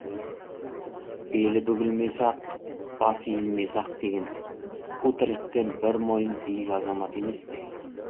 белі бүгілмесе ақ басы иілмесе ақ деген қу тірліктен бір мойын биік азамат емес пе